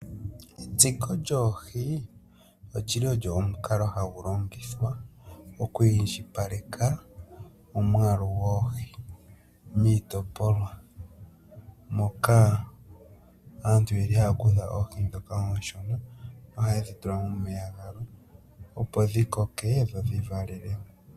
Etsiko lyoohi olyili olyo omukalo hagu longithwa oku indjipaleka omwaalu goohi miitotopolwa moka aantu yeli haya kutha oohi dhoka muushungu nohaye dhitula momeya gamwe opo dhikoke dho dhivalelemo.